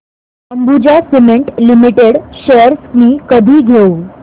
Ambuja cement limited shares मी कधी घेऊ